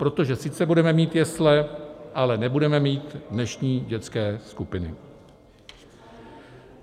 Protože sice budeme mít jesle, ale nebudeme mít dnešní dětské skupiny.